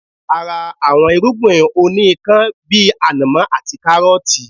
A ra àwọn irúgbìn òní ikán bíi ànàmọ́ àti káárọtii